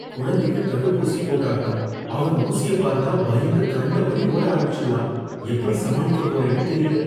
குழந்தைக்கு தடுப்பூசி போட்டாகணும். அவன் ஊசிய பார்த்தா பயந்து கண்டபடி ஓட ஆரம்பிச்சுடுவான். எப்படி சமாளிக்கப் போறேனோ தெரியல.